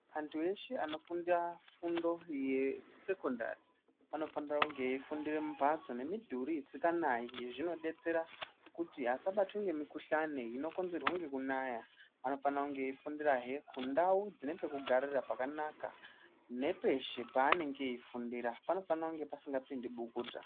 Antu eshe anofunda fundo yekusekondari, anofanire kunge eifundire mumphatso nemidhuri isikanayi. Zvinodetsera kuti asabatwe ngemikhuhlani inokonzerwa ngekunaya. Anofanira kunge eifundirahe kundau dzine pekugarira pakanaka, nepeshe paanenge eifundira panofane kunge pasingapindi bukuta.